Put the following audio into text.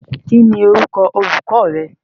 Kín ni orúkọ olùkọ rẹ?